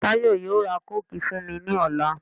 Táyọ̀ yóò ra kóòkì fún mi ní ọ̀la.